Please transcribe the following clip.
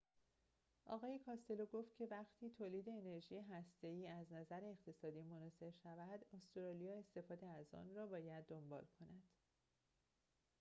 آقای کاستلو گفت که وقتی تولید انرژی هسته ای از نظر اقتصادی مناسب شود استرالیا استفاده از آن را باید دنبال کند